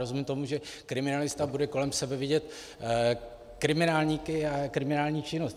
Rozumím tomu, že kriminalista bude kolem sebe vidět kriminálníky a kriminální činnost.